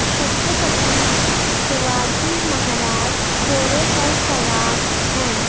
छत्रपति शिवाजी महाराज घोड़े पर सवार हैं।